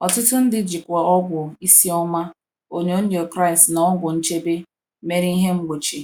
Ọtụtụ ndị jikwa ọgwụ isi ọma, onyonyo Kraịst, na ọgwụ nchebe mere ihe mgbochi.